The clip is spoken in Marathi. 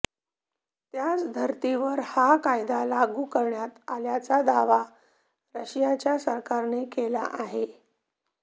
त्याच धर्तीवर हा कायदा लागू करण्यात आल्याचा दावा रशियाच्या सरकारने केला आहे